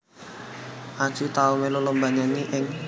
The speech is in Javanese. Anji tau melu lomba nyanyi ing